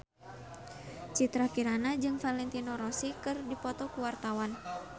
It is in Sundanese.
Citra Kirana jeung Valentino Rossi keur dipoto ku wartawan